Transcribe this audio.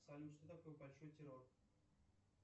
салют что такое большой террор